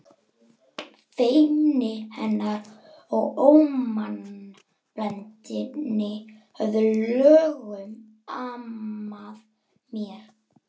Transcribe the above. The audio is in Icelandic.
Feimni hennar og ómannblendni höfðu löngum amað mér.